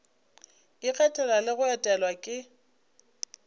ikgethela le go etelwa ke